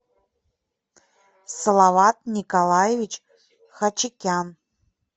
салават николаевич хачикян